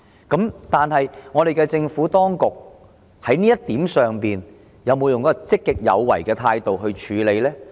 在這一點上，政府當局有否以一種積極有為的態度處理呢？